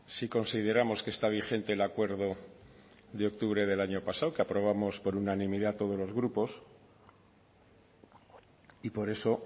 sí consideramos que está vigente el acuerdo de octubre del año pasado que aprobamos por unanimidad todos los grupos y por eso